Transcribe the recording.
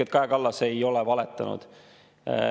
Kaja Kallas ei ole valetanud.